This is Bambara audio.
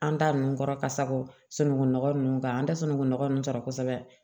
An ta nunnu kɔrɔ ka sago sunɔgɔ nunnu kan an tɛ sunungunɔgɔ nunnu sɔrɔ kosɛbɛ